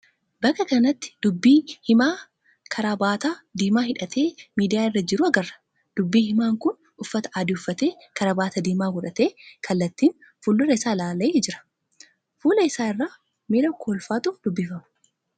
Bakka kanatti dubbi himaa karaabaataa diimaa hidhatee miidiyaa irra jiru agarra. Dubbi himaan kun uffata adii uffatee karaabaataa diimaa godhatee kallaattiin fuuldura isaa ilaalee jira. Fuula isaa irraa miira kolfaatu dubbifama.